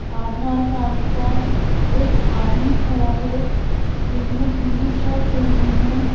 आधार card का एक आदमी खड़ा है जिसने पीली शर्ट पहनी है।